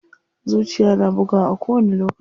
Zuciya na bugawa a kowani lokaci.